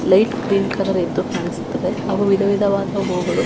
light green colour ಎದ್ದು ಕಾಣಿಸುತ್ತದೆ ಹಾಗೂ ವಿಧ ವಿಧವಾದ ಹೂಗಳು--